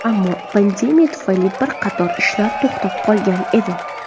Ammo pandemiya tufayli bir qator ishlar to‘xtab qolgan edi.